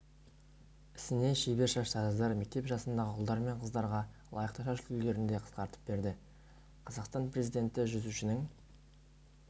ісіне шебер шаштараздар мектеп жасындағы ұлдар мен қыздарға лайықты шаш үлгілерінде қысқартып берді қазақстан президенті жүзушінің